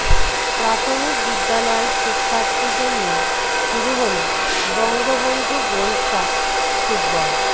প্রাথমিক বিদ্যালয়ের শিক্ষার্থীদের নিয়ে শুরু হলো বঙ্গবন্ধু গোল্ডকাপ ফুটবল